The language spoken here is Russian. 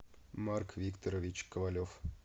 марк викторович ковалев